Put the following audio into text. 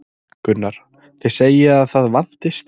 Gunnar: Þið segið að það vanti stráka?